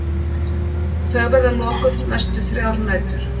Þau verða lokuð næstu þrjár nætur